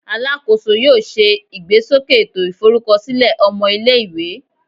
Alakoso yoo ṣe igbesoke eto iforukọsilẹ ọmọ ile-iwe